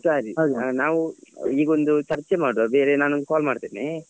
ಸರಿ. ನಾವ್ ಈಗೊಂದು ಚರ್ಚೆ ಮಾಡುವ ಬೇರೆ ನಾನೊಂದು call ಮಾಡ್ತೇನೆ